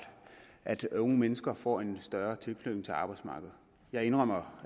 at unge mennesker får en større tilknytning til arbejdsmarkedet jeg indrømmer